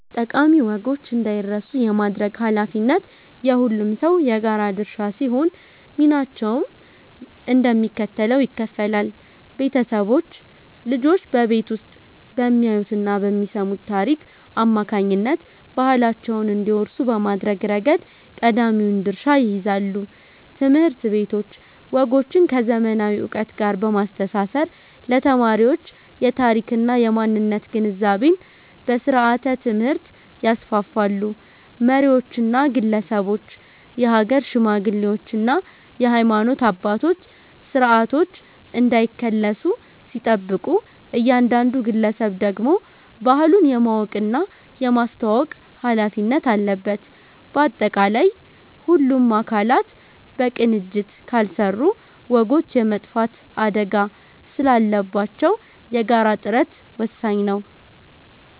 ጠቃሚ ወጎች እንዳይረሱ የማድረግ ኃላፊነት የሁሉም ሰው የጋራ ድርሻ ሲሆን፣ ሚናቸውም እንደሚከተለው ይከፈላል፦ ቤተሰቦች፦ ልጆች በቤት ውስጥ በሚያዩትና በሚሰሙት ታሪክ አማካኝነት ባህላቸውን እንዲወርሱ በማድረግ ረገድ ቀዳሚውን ድርሻ ይይዛሉ። ትምህርት ቤቶች፦ ወጎችን ከዘመናዊ ዕውቀት ጋር በማስተሳሰር ለተማሪዎች የታሪክና የማንነት ግንዛቤን በስርዓተ-ትምህርት ያስፋፋሉ። መሪዎችና ግለሰቦች፦ የሀገር ሽማግሌዎችና የሃይማኖት አባቶች ስርዓቶች እንዳይከለሱ ሲጠብቁ፣ እያንዳንዱ ግለሰብ ደግሞ ባህሉን የማወቅና የማስተዋወቅ ኃላፊነት አለበት። ባጠቃላይ፣ ሁሉም አካላት በቅንጅት ካልሰሩ ወጎች የመጥፋት አደጋ ስላለባቸው የጋራ ጥረት ወሳኝ ነው።